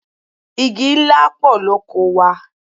Igi ńlá pọ̀ lóko wa.